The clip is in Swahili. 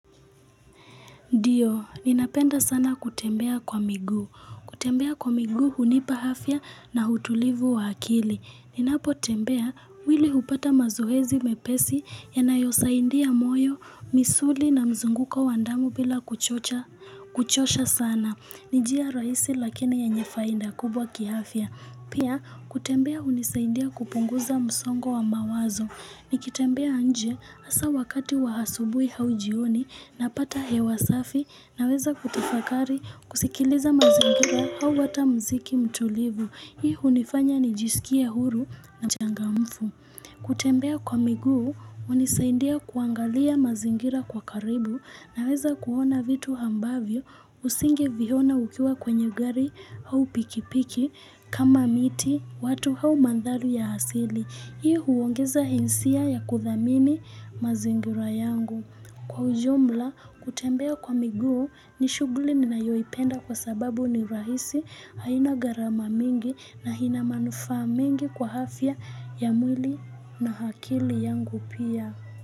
Ndiyo, ninapenda sana kutembea kwa miguu. Kutembea kwa miguu hunipa afya na utulivu wa akili. Ninapotembea mwili hupata mazoezi mepesi yanayosaidia moyo, misuli na mzunguko wa damu bila kuchosha sana. Ni njia rahisi lakini yenye faida kubwa kiafya. Pia, kutembea hunisaindia kupunguza msongo wa mawazo. Nikitembea nje hasaa wakati wa asubuhi au jioni napata hewa safi, naweza kutafakari, kusikiliza mazingira au hata muziki mtulivu. Hii hunifanya nijisikie huru na mchangamfu. Kutembea kwa miguu, hunisaindia kuangalia mazingira kwa karibu, naweza kuona vitu ambavyo usingeviona ukiwa kwenye gari au pikipiki kama miti watu au mandhari ya asili. Hii huongeza hisia ya kuthamini mazingira yangu. Kwa ujumla, kutembea kwa miguu ni shughuli ninayoipenda kwa sababu ni rahisi haina gharama mingi na ina manufaa mingi kwa afya ya mwili na akili yangu pia.